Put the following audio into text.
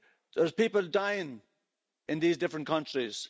There are people dying in these different countries.